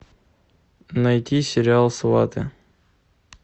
найти сериал сваты